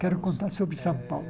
Quero contar sobre São Paulo.